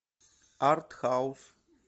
артхаус